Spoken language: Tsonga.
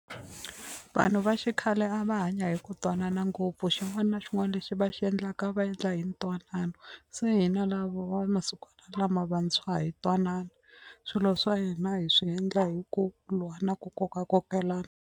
Vanhu va xikhale a va hanya hi ku twanana ngopfu xin'wana xin'wana lexi va xi endlaka a va endla hi ntwanano se hina lavo va masikwana lama vantshwa a hi twanani swilo swa hina hi swi endla hi ku lwa na ku kokakokelana.